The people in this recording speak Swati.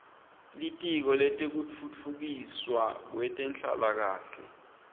litiko letekutfutfukiswa kwetenhlalakahle